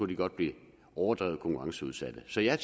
de godt blive overdrevet konkurrenceudsatte så jeg er